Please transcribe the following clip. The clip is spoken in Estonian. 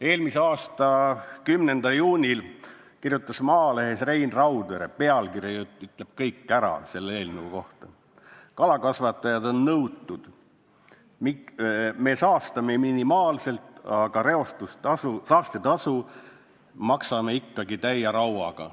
Eelmise aasta 10. juunil kirjutas Maalehes Rein Raudvere : "Kalakasvatajad on nõutud: me reostame minimaalselt, aga saastetasu maksame ikkagi täie rauaga.